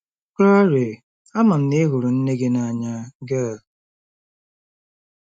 Claire: Ama m na ị hụrụ nne gị n'anya, Gail.